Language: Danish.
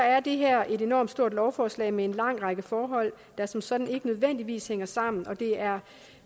er det her et enormt stort lovforslag med en lang række forhold der som sådan ikke nødvendigvis hænger sammen og det er